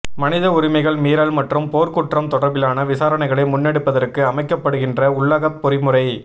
மனித உரிமைகள் மீறல் மற்றும் போர்க்குற்றம் தொடர்பிலான விசாரணைகளை முன்னெடுப்பதற்கு அமைக்கப்படுகின்ற உள்ளகப் பொறிமுறை